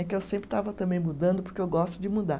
É que eu sempre estava também mudando, porque eu gosto de mudar.